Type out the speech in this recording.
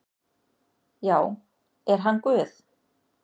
Já, er hann Guð?